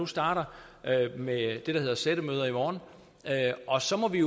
starter med det der hedder sættemøder i morgen og så må vi